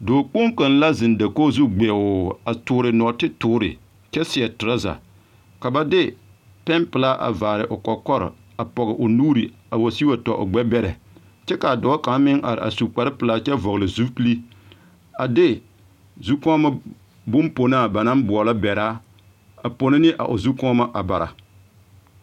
Dɔɔkpoŋ kaŋ la a zeŋ dakogi zu gbeoo a toore nɔɔte toore kyɛ seɛ torɔza ka ba de peɛpelaa a vaare o kɔkɔre o pɔge o nuuri a wa sigi wa tɔ o gbɛbɛrɛ kyɛ kaa dɔɔ kaŋ meŋ a are a su kparrepelaa kyɛ vɔgli zupili a de zukɔɔmo bomponaa ba naŋ boɔlɔ bɛraa a pono ne a o zukɔɔmo a Bara.